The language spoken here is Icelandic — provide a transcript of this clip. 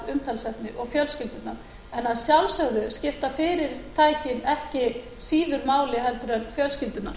umtalsefni og fjölskyldurnar en að sjálfsögðu skipta fyrirtækin ekki síður máli en fjölskyldurnar